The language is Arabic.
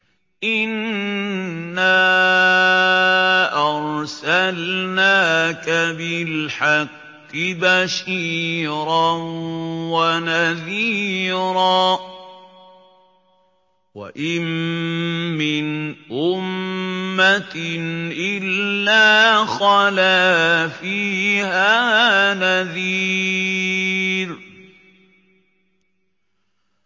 إِنَّا أَرْسَلْنَاكَ بِالْحَقِّ بَشِيرًا وَنَذِيرًا ۚ وَإِن مِّنْ أُمَّةٍ إِلَّا خَلَا فِيهَا نَذِيرٌ